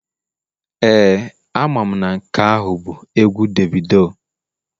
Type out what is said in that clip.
Ee, amam na nke ahu bu egwu Davido